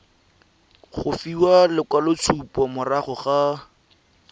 go fiwa lekwaloitshupo morago ga